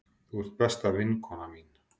Þú ert besta vinkona mín.